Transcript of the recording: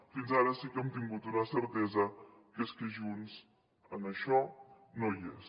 fins ara sí que hem tingut una certesa que és que junts en això no hi és